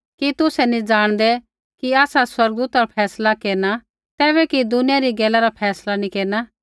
कि तुसै नी जाणदै कि आसा स्वर्गदूता रा फैसला केरना ता कि दुनिया री गैला रा फैसला नी केरना